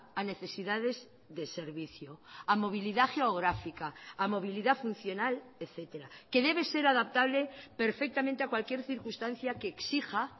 a necesidades de servicio a movilidad geográfica a movilidad funcional etcétera que debe ser adaptable perfectamente a cualquier circunstancia que exija